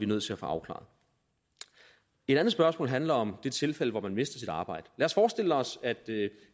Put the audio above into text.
nødt til at få afklaret et andet spørgsmål handler om det tilfælde hvor man mister sit arbejde lad os forestille os